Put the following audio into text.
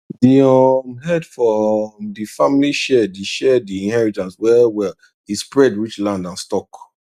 d um head for um d family share d share d inheritance well well e spread reach land and stock